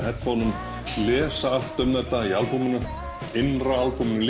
heyrnartólum lesa allt um þetta í albúminu innra albúminu